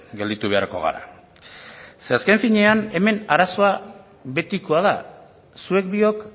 gelditu beharko gara ze azken finean hemen arazoa betikoa da zuek biok